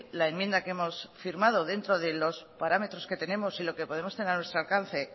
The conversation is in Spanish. la enmienda que hemos firmado dentro de los parámetros que tenemos y lo que podemos tener a nuestro alcance